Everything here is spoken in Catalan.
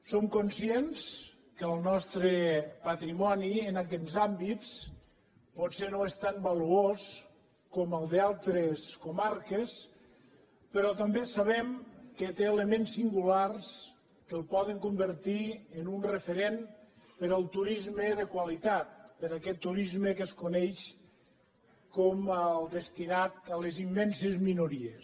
som conscients que el nostre patrimoni en aquests àmbits potser no és tan valuós com el d’altres comarques però també sabem que té elements singulars que el poden convertir en un referent per al turisme de qualitat per a aquest turisme que es coneix com el destinat a les immenses minories